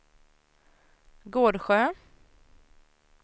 Gårdsjö